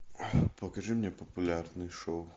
покажи мне популярные шоу